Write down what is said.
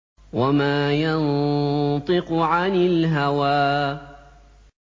وَمَا يَنطِقُ عَنِ الْهَوَىٰ